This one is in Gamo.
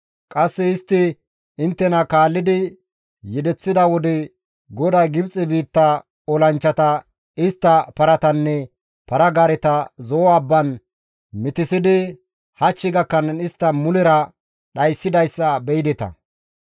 Qasse istti inttena kaallidi yedeththida wode GODAY Gibxe biitta olanchchata, istta paratanne para-gaareta Zo7o abbaan mitissidi hach gakkanaas istta mulera dhayssidayssa be7ideta.